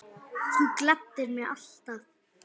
Þú gladdir mig alltaf.